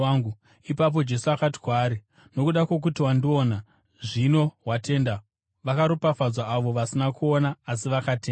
Ipapo Jesu akati kwaari, “Nokuda kwokuti wandiona, zvino watenda; vakaropafadzwa avo vasina kuona asi vakatenda.”